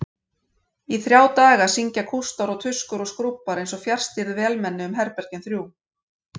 Í þrjá daga syngja kústar og tuskur og skrúbbar einsog fjarstýrð vélmenni um herbergin þrjú.